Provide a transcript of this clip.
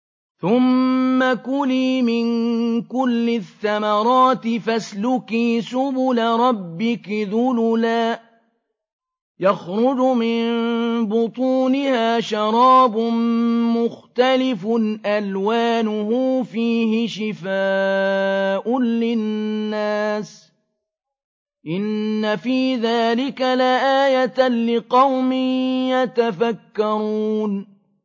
ثُمَّ كُلِي مِن كُلِّ الثَّمَرَاتِ فَاسْلُكِي سُبُلَ رَبِّكِ ذُلُلًا ۚ يَخْرُجُ مِن بُطُونِهَا شَرَابٌ مُّخْتَلِفٌ أَلْوَانُهُ فِيهِ شِفَاءٌ لِّلنَّاسِ ۗ إِنَّ فِي ذَٰلِكَ لَآيَةً لِّقَوْمٍ يَتَفَكَّرُونَ